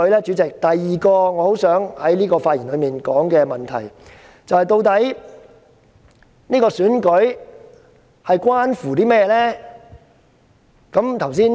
主席，第二個我很想在發言中指出的問題是：究竟這次選舉關乎甚麼呢？